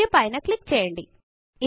ఒక్ పైన క్లిక్ చేయండి